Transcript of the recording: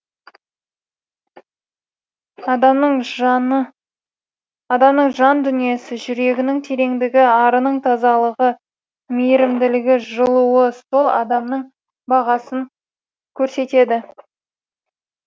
адамның жан дүниесі жүрегінің тереңдігі арының тазалығы мейірімділігінің жылуы сол адамның бағасын көрсетеді